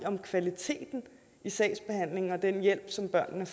om kvaliteten i sagsbehandlingen og den hjælp som børnene